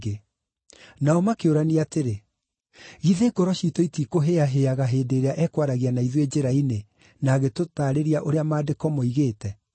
Nao makĩũrania atĩrĩ, “Githĩ ngoro ciitũ itiikũhĩahĩaga hĩndĩ ĩrĩa ekwaragia na ithuĩ njĩra-inĩ, na agĩtũtaarĩria ũrĩa Maandĩko moigĩte?”